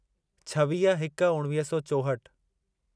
छवीह हिक उणिवीह सौ चोहठि